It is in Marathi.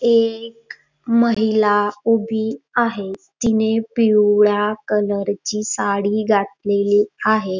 एक महिला उभी आहे तिने पिवळा कलर ची साडी घातलेली आहे.